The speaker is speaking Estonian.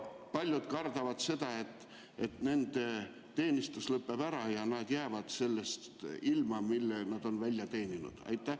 Paljud kardavad seda, et nende teenistus lõpeb ja nad jäävad ilma sellest, mille nad on välja teeninud.